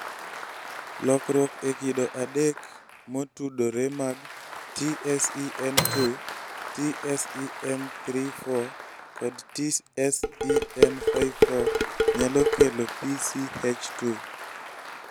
Lokruok e kido adek motudore mag TSEN2, TSEN34 kod TSEN54 nyalo kelo PCH2